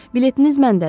Biletiniz məndədir.